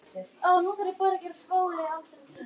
Hann fluttist þangað frá Laxalóni fyrir fáum árum.